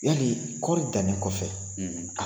Yanni kɔɔri dannen kɔfɛ,